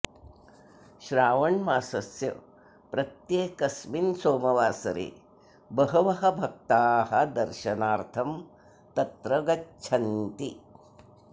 श्रावणमासस्य प्रत्येकस्मिन् सोमवासरे बहवः भक्ताः दर्शनार्थं तत्र गच्छन्ति